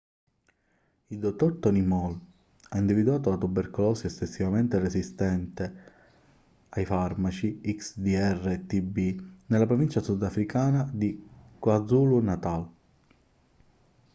il dottor tony moll ha individuato la tubercolosi estensivamente resistente ai farmaci xdr-tb nella provincia sudafricana di kwazulu-natal